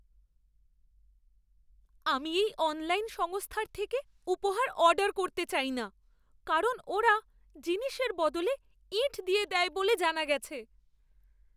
আমি এই অনলাইন সংস্থার থেকে উপহার অর্ডার করতে চাই না কারণ ওরা জিনিসের বদলে ইঁট দিয়ে দেয় বলে জানা গেছে!